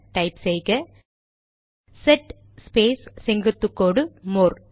type செய்க set space செங்குத்து கோடு மோர்